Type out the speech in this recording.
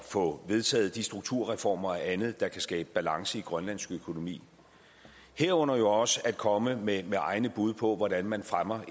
få vedtaget de strukturreformer og andet der kan skabe balance i grønlands økonomi herunder også at komme med egne bud på hvordan man fremmer